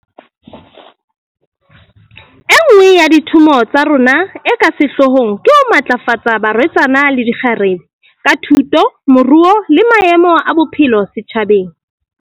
E nngwe ya dithomo tsa rona e ka sehlohlong ke ho matlafatsa barwetsana le dikgarebe, ka thuto, moruo le maemo a bophelo setjhabeng.